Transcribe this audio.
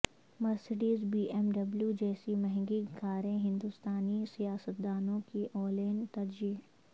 Mercedes B M W جیسی مہنگی کاریں ہندوستانی سیاستدانوں کی اولین ترجیح